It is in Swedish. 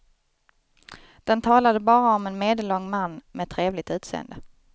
Den talade bara om en medellång man med trevligt utseende.